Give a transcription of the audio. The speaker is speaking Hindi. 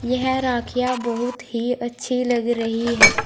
यह राखियां बहुत ही अच्छी लग रही है।